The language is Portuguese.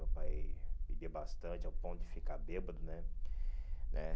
Meu pai bebia bastante, ao ponto de ficar bêbado, né? né